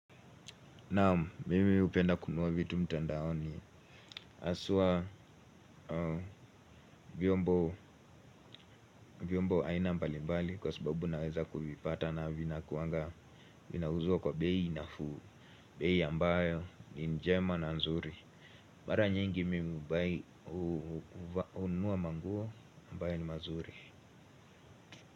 Naam, mimi hupenda kununua vitu mtandaoni. Haswa vyombo vyombo aina mbali mbali kwa sababu naweza kuvipata na vinakuanga vinauzwa kwa bei nafuu. Bei ambayo ni njema na nzuri. Mara nyingi mimi hununua manguo ambayo ni mazuri.